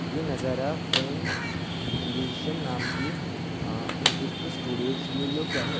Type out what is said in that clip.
ये नजारा friends creation नाम की आ एक ठो स्टूडियो स्टूडियो का है।